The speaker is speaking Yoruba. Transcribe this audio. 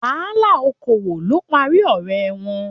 Wàhálà okoowo ló parí ọrẹ wọn.